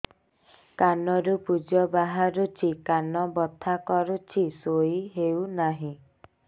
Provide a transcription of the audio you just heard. କାନ ରୁ ପୂଜ ବାହାରୁଛି କାନ ବଥା କରୁଛି ଶୋଇ ହେଉନାହିଁ